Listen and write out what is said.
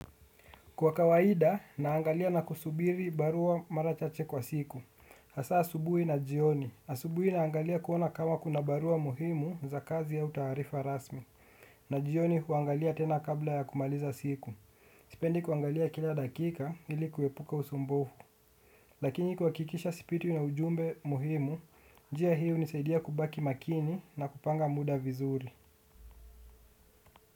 Kwa kawaida naangalia na kusubiri barua mara chache kwa siku, hasa asubuhi na jioni. Asubuhi naangalia kuona kama kuna barua muhimu za kazi au taarifa rasmi. Na jioni huangalia tena kabla ya kumaliza siku. Sipendi kuangalia kila dakika ili kuepuka usumbufu. Lakini kuhakikisha sipitwi na ujumbe muhimu njia hii hunisaidia kubaki makini na kupanga muda vizuri.